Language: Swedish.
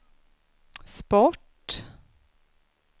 sport